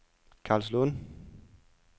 Karlslunde